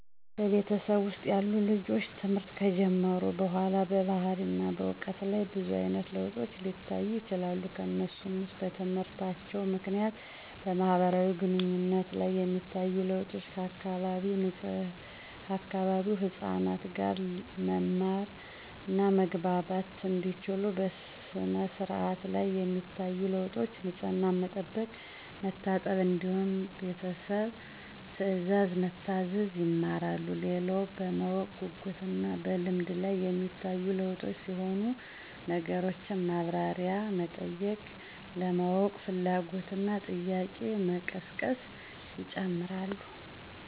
በቤተሰብ ውስጥ ያሉ ልጆች ትምህርት ከጀመሩ በኋላ በባህሪና በዕውቀት ላይ ብዙ አይነት ለውጦች ሊታዩ ይችላሉ። ከነሱም ውስጥ በትምህርታቸው ምክንያት በማህበራዊ ግንኙነት ላይ የሚታዩ ለውጦች፤ ከአካባቢው ህፃናት ጋር መማማር እና መግባባት እንዲችሉ፣ በሥነ-ስርዓት ላይ የሚታዩ ለውጦች፤ ንፅህናን መጠበቅ፣ መታጠብ እንዲሁም ቤተሰብ ትእዛዝ መታዘዝ ይማራሉ። ሌላው በማወቅ ጉጉት እና በልምድ ላይ ሚታዩ ለውጦች ሲሆኑ ነገሮችን ማብራሪያ መጠየቅ፣ ለማወቅ ፍላጎት እና ጥያቄ መቀስቀስ ይጨመራሉ።